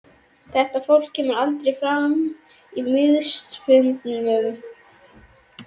Þetta fólk kemur aldrei fram á miðilsfundum.